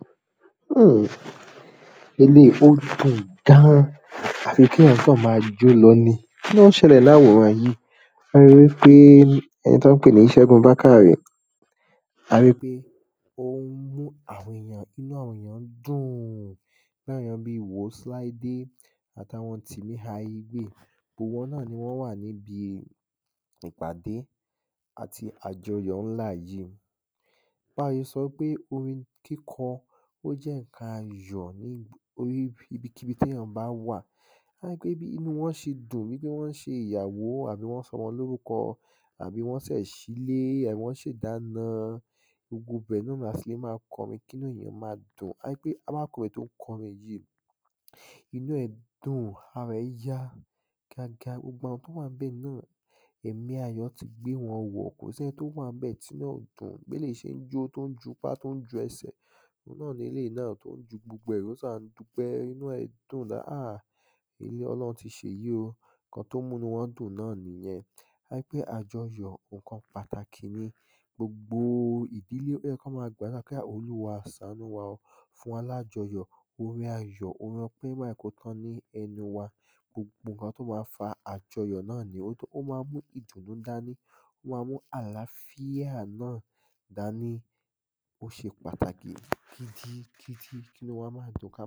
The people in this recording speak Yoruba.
m̀ eléyì o dùn gan à fi kí èyàn kàn máa jó lọ ni kí ló ń ṣẹlẹ̀ láwòran yìí a ríi wípé ẹni tán ń pè ní Ṣẹ́gun Bákàrè a ríi pé ó ń mú àwọn èyàn inú àwọn èyàn ń dùn irú àwọn èyàn bíi wòs Láídé àtàwọn Tìmí Aigbéè gbogbo wọn náà ni wọ́n wà níbi ìpàdé àti àjọyọ̀ ńlá yìí báye sọ pé orin kíkọ ó jẹ́ ǹkan ayò níb oríi ibikíbi téyan bá wà tó bá jẹ́ pé bí inúu wọn ṣe dùn wípé wọ́n ṣe ìyàwó àbí wọ́n sọmọlórúkọ àbí wọ́n sẹ̀ ṣílé àbí wọ́n ṣe ìdána gbogbo ibẹ̀ ni yó máa tilè máa kọrin kí inú ẹ̀yàn máa dùn a ríi pé arákùrin tọ́n kọrin yìí inú ẹ̀ dùn ara ẹ̀ yá kíákíá gbogbo àwọn tó wán bẹ̀ náà ẹ̀mí ayọ̀ ti gbé wọn wọ̀ kò sí ẹni tó wàn ńbẹ̀ tí inú ẹ̀ ò dùn bí eléyìí ṣe ń jó tó ń jupá tó ń ju ẹsẹ̀ òun náà ni eléyìí náà tún ju gbogbo ẹ̀ ó sà ń dúpẹ́ inú ẹ̀ dùn da háà ọlọ́ọ̀run ti ṣèyí o ǹkan tó ń mú inúu wọn dùn náà nìyẹn a rí pé àjọyọ̀ ǹkan pàtàkì ni gbogbo o ìdílé ó yẹ kán máa gbàdúrà pé hà olúwa sàánú wa ó fún wa lájọyọ̀ orin ayọ̀ orin ọpẹ́ má jẹ̀ẹ́ kó tán ní ẹnu wa gbogbo ǹkan tõ máa fa àjọyọ̀ náà ni ó tó ó má ń mú ìdùnú dání ó má ń mú àràáfíà náà dání ó ṣe pàtàkì gidi gidi kínúu wa máa dùn ká máa